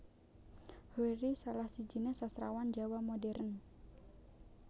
Hoery salah sijiné Sastrawan Jawa Modern